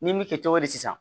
N'i m'i kɛ cogo di sisan